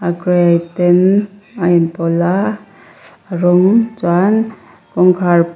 gray ten a inpawlh a rawng chuan kawngkhar--